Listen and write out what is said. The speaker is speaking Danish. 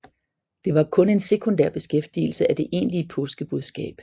Det var kun en sekundær bekræftelse af det egentlige påskebudskab